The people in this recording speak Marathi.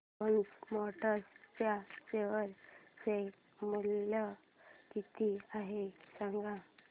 फोर्स मोटर्स च्या शेअर चे मूल्य किती आहे सांगा